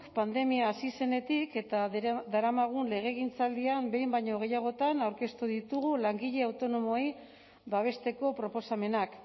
pandemia hasi zenetik eta daramagun legegintzaldian behin baino gehiagotan aurkeztu ditugu langile autonomoei babesteko proposamenak